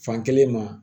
Fankelen ma